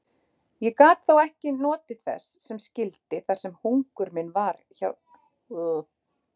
Ég gat þó ekki notið þess sem skyldi þar sem hugur minn var hjá Sævari.